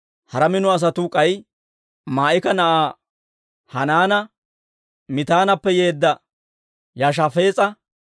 Hara mino asatuu k'ay Maa'ika na'aa Hanaana, Mitaanappe yeedda Yoshafaas'a,